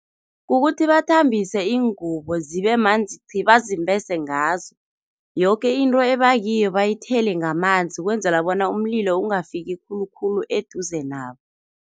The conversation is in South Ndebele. Kukuthi bathambise iingubo, zibemanzi chi, bazimbese ngazo. Yoke into ebakiyo bayithele ngamanzi ukwenzela bona umlilo ungafiki khulukhulu eduze nabo.